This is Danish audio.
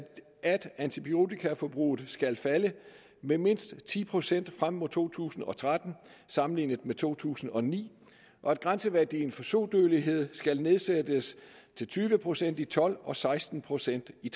at antibiotikaforbruget skal falde med mindst ti procent frem mod to tusind og tretten sammenlignet med to tusind og ni og at grænseværdien for sodødelighed skal nedsættes til tyve procent i tolv og seksten procent i